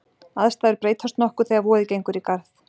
aðstæður breytast nokkuð þegar vorið gengur í garð